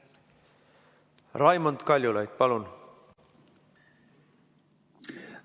Raimond Kaljulaid, palun!